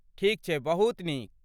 ठीक छै, बहुत नीक।